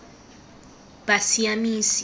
bosiamisi